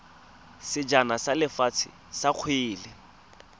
sejana sa lefatshe sa kgwele